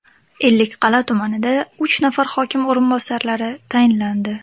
Ellikqal’a tumanida uch nafar hokim o‘rinbosarlari tayinlandi.